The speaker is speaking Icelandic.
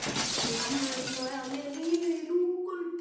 Við mamma erum búin að vera með lífið í lúkunum.